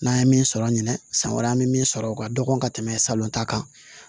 N'an ye min sɔrɔ an ɲɛnɛ san wɛrɛ an mi sɔrɔ o ka dɔgɔ ka tɛmɛ salon ta kan